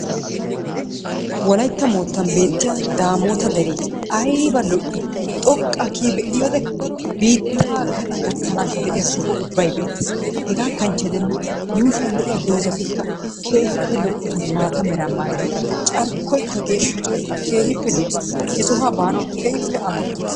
Wolaytta moottaan beettiyaa damoota deree ayba lo"ii! xooqqaa kiyi be'iyoode biittaa gaxaa gakkaanshin de'iyaa sohota ubbay beettees. Hegaa kanchche giidenna yuushshuwaan de'iyaa doozatikka keehippe lo"oosona. maata meraa maayidi carkkoykka geeshsha carkkoy keehippe lo"ees. He sohuwaa baanawu keehippe amottaays.